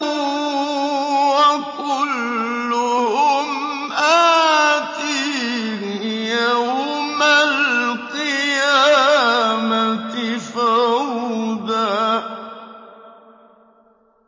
وَكُلُّهُمْ آتِيهِ يَوْمَ الْقِيَامَةِ فَرْدًا